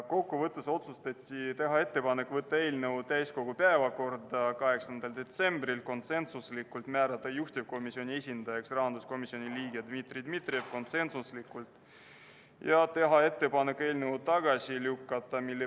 Kokkuvõtteks: otsustati teha ettepanek võtta eelnõu täiskogu päevakorda 8. detsembriks , määrata juhtivkomisjoni esindajaks rahanduskomisjoni liige Dmitri Dmitrijev ja teha ettepanek eelnõu tagasi lükata .